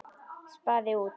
Spaði út.